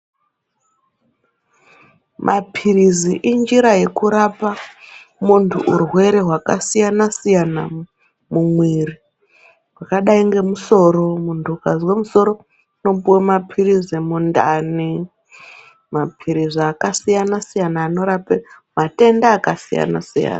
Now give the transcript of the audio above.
Mapirizi injira yekurapa muntu urwere hwakasiyana siyana mumwiri zvakadai ngemusoro muntu ukazwa musoro unopuwa mapirizi mundani mapirizi yakasiyana siyana anorape matenda yakasiyana siyana.